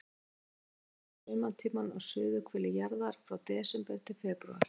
Varptíminn er yfir sumarið á suðurhveli jarðar, frá desember til febrúar.